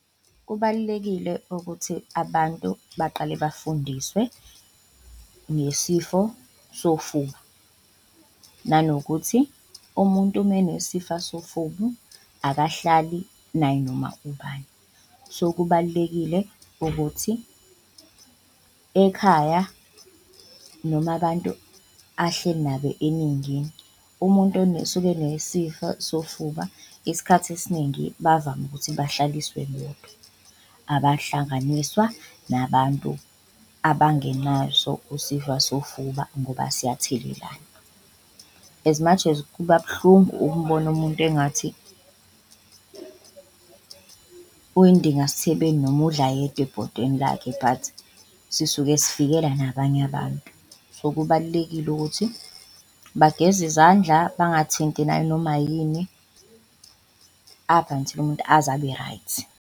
Kubalulekile ukuthi abantu baqale bafundiswe ngesifo sofuba nanokuthi umuntu menesifa sofuba akahlali nayinoma ubani so, kubalulekile ukuthi ekhaya noma abantu ahleli nabo eningini. Umuntu osuke enesifo sofuba isikhathi esiningi bavame ukuthi bahlaliswe bodwa abahlanganiswa nabantu abangenaso isifa sofuba ngoba siyathelelana, as much as kuba buhlungu ukubona umuntu engathi uyidinga sithebeni noma udla yedwa ebhodweni lakhe but sisuke sivikela nabanye abantu. So, kubalulekile ukuthi bageze izandla bangathinti nanoma yini up until umuntu aze abe-right.